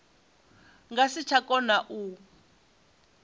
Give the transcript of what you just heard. nga si tsha kona u